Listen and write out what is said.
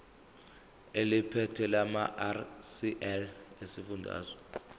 eliphethe lamarcl esifundazwe